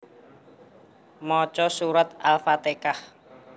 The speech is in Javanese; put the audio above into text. Maca surat Al fatehah